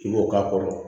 I b'o k'a kɔrɔ